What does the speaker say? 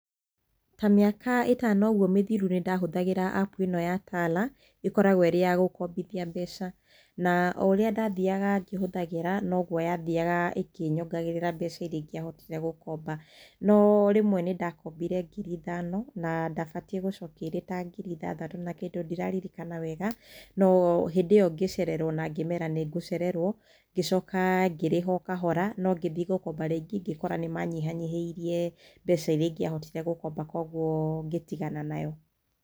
Ta mĩaka ĩtano ũguo mĩthiru nĩ ndahũthagĩra apu ĩno ya TALA, ĩkoragwo ĩrĩ ya gũkombithia mbeca. Na o ũrĩa ndathiaga ngĩhũthagĩra no guo ya thiaga ĩkĩnyongagĩrĩra mbeca iria ingiahotire gũkomba. No rĩmwe nĩ ndakombire ngiri ithano, na ndabatiĩ gũcokia irĩ ta ngiri ithathatũ na kĩndũ, ndiraririkana wega. No hĩndĩ ĩyo ngĩcererwo na ngĩmeera nĩ ngũcererwo ngĩcoka ngĩrĩha o kahora, no ngĩthiĩ gũkomba rĩngĩ, ngĩkora nĩ manyihanyihĩirie mbeca iria ingĩahotire gũkomba kwoguo ngĩtigana nayo.